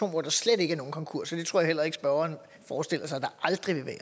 hvor der slet ikke er nogen konkurser det tror jeg heller ikke spørgeren forestiller sig der aldrig vil være